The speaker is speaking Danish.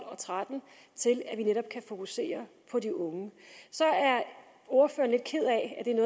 og tretten til at vi netop kan fokusere på de unge så er ordføreren lidt ked af